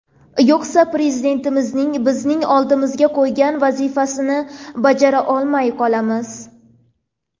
Yo‘qsa, Prezidentimizning bizning oldimizga qo‘ygan vazifasini bajara olmay qolamiz”.